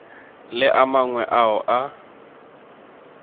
le a mangwe ao a